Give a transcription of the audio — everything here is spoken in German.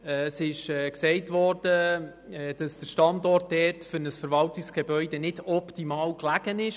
Es wurde gesagt, dass dieser Standort für ein Verwaltungsgebäude nicht optimal gelegen sei.